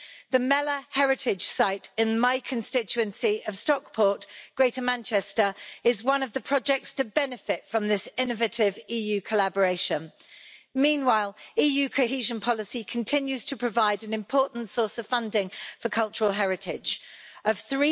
The Mellor heritage site in my constituency of Stockport, Greater Manchester, is one of the projects to benefit from this innovative EU collaboration. Meanwhile EU cohesion policy continues to provide an important source of funding for cultural heritage of EUR